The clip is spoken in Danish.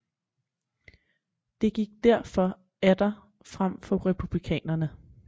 Det gik derfor atter frem for republikanerne